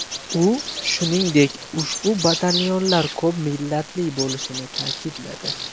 U, shuningdek, ushbu batalyonlar ko‘p millatli bo‘lishini ta’kidladi.